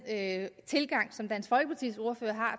tilgang som dansk folkepartis ordfører har